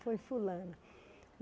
Foi fulana.